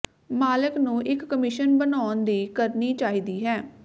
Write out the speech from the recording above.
ਮਾਲਕ ਨੂੰ ਇਕ ਕਮਿਸ਼ਨ ਬਣਾਉਣ ਦੀ ਕਰਨੀ ਚਾਹੀਦੀ ਹੈ